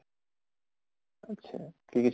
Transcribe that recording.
আত্চ্ছা কি কি